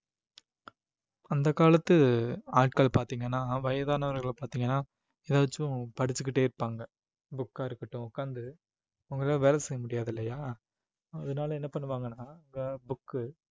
அந்த காலத்து ஆட்கள் பார்த்தீங்கன்னா வயதானவர்கள பார்த்தீங்கன்னா ஏதாச்சும் படிச்சுக்கிட்டே இருப்பாங்க book ஆ இருக்கட்டும் உட்கார்ந்து அவங்களால வேலை செய்ய முடியாது இல்லையா அதனால என்ன பண்ணுவாங்கன்னா book உ